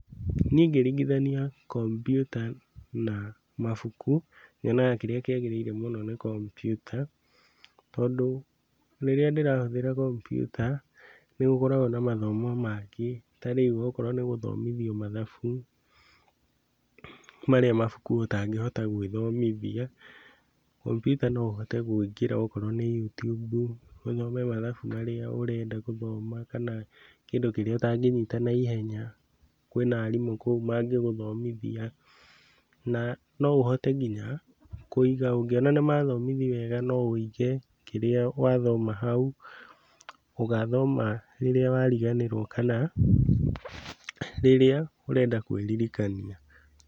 Niĩ ngĩringithania kompiuta na mabuku, nyonaga kĩrĩa kĩagĩrĩire mũno nĩ kompiuta tondũ rĩrĩa ndĩrahũthĩra kompiuta nĩ gũkoragwo na mathomo mangĩ ta rĩu okorwo nĩ gũthomithio mathabu marĩa mabuku ũtangĩhota gũĩthomithia, kompiuta no ũhote kũingĩra ona okorwo nĩ YouTube ũthome mathabu marĩa ũrenda gũthoma kana kĩndu kĩrĩa utagĩnyita na ihenya. Kwĩna aarimũ kũu mangĩguthomithia na no ũhote nginya kũiga, ũngĩona nĩ mathomithia wega no wĩige kĩrĩa wathoma hau, ũgathoma rĩrĩa wariganĩrwo kana rĩrĩa ũrenda kwĩririkania.